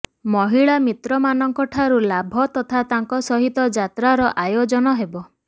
ମହିଳା ମିତ୍ରମାନଙ୍କଠାରୁ ଲାଭ ତଥା ତାଙ୍କ ସହିତ ଯାତ୍ରାର ଆୟୋଜନ ହେବ